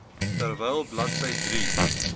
terwyl bladsy drie